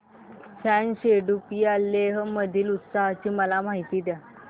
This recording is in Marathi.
फ्यांग सेडुप या लेह मधील उत्सवाची मला माहिती द्या